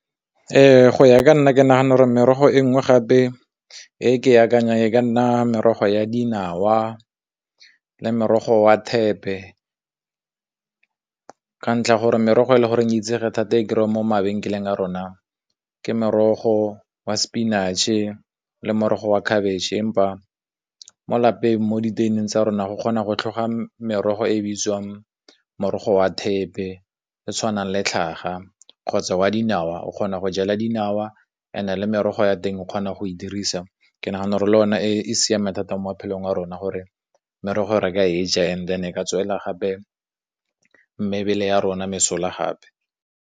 Ee, go ya ka nna ke nagana gore merogo e nngwe gape e ke akanyang, e ka nna merogo ya dinawa le morogo wa thepe ka ntlha ya gore merogo e le goreng itsege thata e kry-a mo mabenkeleng a rona ke morogo wa spinach-e le morogo wa khabetšhe, empa mo lapeng mo diteng tsa rona go kgona go tlhoga merogo e bitswang morogo wa thepe le tshwanang le tlhaga, kgotsa wa di dinawa, o kgona go jala dinawa ene le merogo wa teng o kgona go e dirisa, ke nagana gore le o ne e siameng thata mo maphelong a rona gore merogo re ka e ja, and then e ka tswela gape mebele ya rona mesola gape.